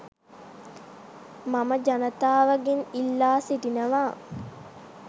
මම ජනතාවගෙන් ඉල්ලා සිටිනවා.